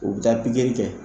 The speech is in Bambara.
U bi taa pigiri kɛ